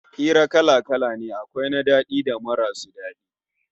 Hirarraki kala-kala ne, akwai na daɗi da marasu daɗi